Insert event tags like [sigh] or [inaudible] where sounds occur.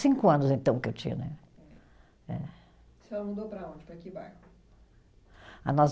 Cinco anos, então, que eu tinha, né? Eh. A senhora mudou para onde, para que bairro? [unintelligible]